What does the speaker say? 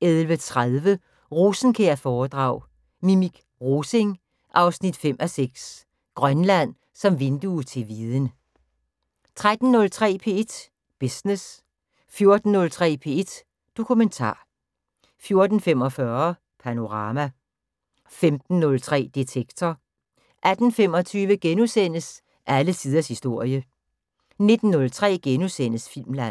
11:30: Rosenkjær-foredrag: Minik Rosing 5:6 - Grønland som vindue til viden 13:03: P1 Business 14:03: P1 Dokumentar 14:45: Panorama 15:03: Detektor 18:25: Alle tiders historie * 19:03: Filmland *